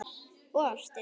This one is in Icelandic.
Og ástin.